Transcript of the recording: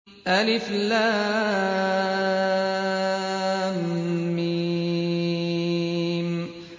الم